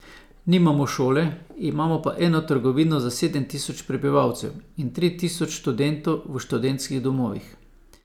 Nimamo šole, imamo pa eno trgovino za sedem tisoč prebivalcev in tri tisoč študentov v študentskih domovih.